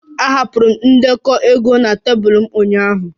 Ahapụrụ m ndekọ ego na tebụl m ụnyaahụ